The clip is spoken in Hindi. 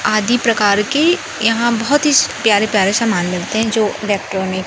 आदि प्रकार के यहां बहोत ही प्यारे प्यारे समान मिलते हैं जो इलेक्ट्रॉनिक --